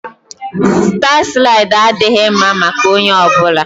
Staa slaịdị adịghị mma maka onye ọ bụla